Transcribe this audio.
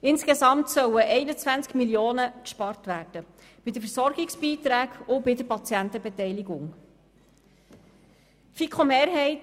Insgesamt sollen bei den Versorgungsbeiträgen und bei der Patientenbeteiligung 21 Mio. Franken eingespart werden.